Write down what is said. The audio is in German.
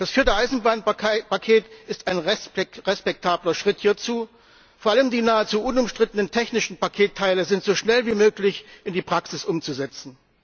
Das vierte Eisenbahnpaket ist ein respektabler Schritt hierzu, vor allem die nahezu unumstrittenen technischen Paketteile sind so schnell wie möglich in die Praxis umzusetzen.